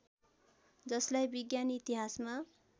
जसलाई विज्ञान इतिहासमा